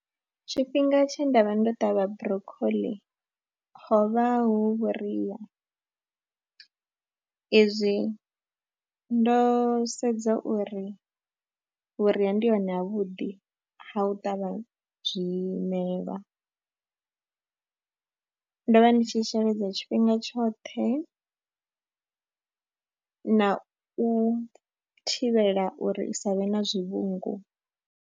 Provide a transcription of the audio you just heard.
Tshifhinga tshe nda vha ndo ṱavha Broccoli ho vha hu vhuria, izwi ndo sedza uri vhuria ndi hone havhuḓi ha u ṱavha zwimelwa, ndo vha ndi tshi sheledza tshifhinga tshoṱhe na u thivhela uri i sa vhe na zwivhungu.